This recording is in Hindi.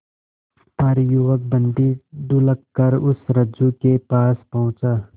पर युवक बंदी ढुलककर उस रज्जु के पास पहुंचा